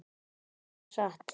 Og það var satt.